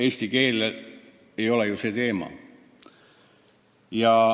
Eesti keel ei ole ju see teema.